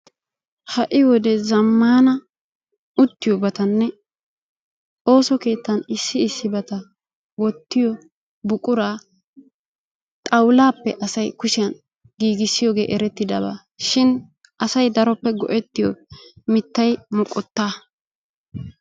ha'i wode zamaana uttiyobatanne ooso keettan issi issibata wuttiyo buquraa xawulappe asay kushiyan giigissiyooge erettidaba shin asay daroppe go'etiyo mitay moqotaa.